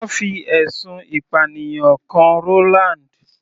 Wọ́n fi ẹ̀sùn ìpànìyàn kan Roland.